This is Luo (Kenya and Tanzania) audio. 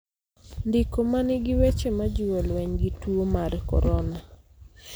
Ndiko ma nigi weche majiwo lweny gi tuo mar korona